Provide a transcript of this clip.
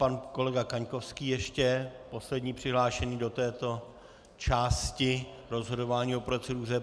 Pan kolega Kaňkovský ještě poslední přihlášený do této části rozhodování o proceduře.